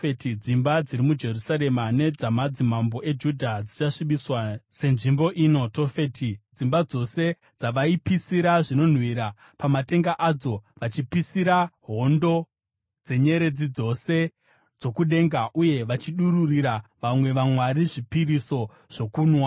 Dzimba dziri muJerusarema nedzamadzimambo eJudha dzichasvibiswa senzvimbo ino, Tofeti, dzimba dzose dzavaipisira zvinonhuhwira pamatenga adzo, vachipisira hondo dzenyeredzi dzose dzokudenga uye vachidururira vamwe vamwari zvipiriso zvokunwa.’ ”